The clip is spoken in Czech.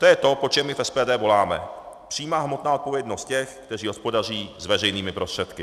To je to, po čem my v SPD voláme - přímá hmotná odpovědnost těch, kteří hospodaří s veřejnými prostředky.